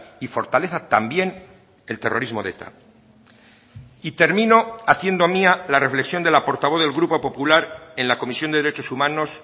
y fortaleza también el terrorismo de eta y termino haciendo mía la reflexión de la portavoz del grupo popular en la comisión de derechos humanos